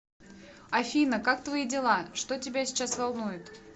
афина как твои дела что тебя сейчас волнует